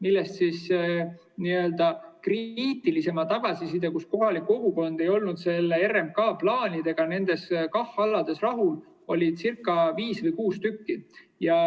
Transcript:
Nendest n‑ö kriitilisemat tagasisidet saadi, sest kohalik kogukond ei olnud RMK plaanidega nendel KAH‑aladel rahul, viiel või kuuel.